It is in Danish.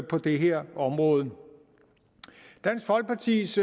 på det her område dansk folkepartis